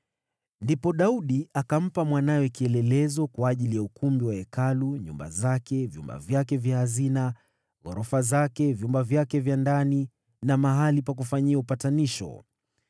Ndipo Daudi akampa Solomoni mwanawe kielelezo kwa ajili ya ukumbi wa Hekalu, nyumba zake, vyumba vyake vya hazina, ghorofa zake, vyumba vyake vya ndani na mahali pa kufanyia upatanisho.